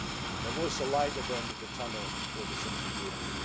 There was a light at the end of the tunnel for Central Europe.